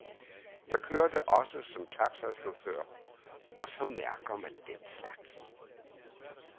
Jeg kørte også som taxachauffør, og så mærker man den slags.